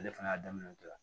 Ale fana y'a daminɛ o de la